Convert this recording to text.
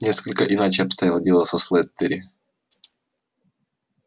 несколько иначе обстояло дело со слэттери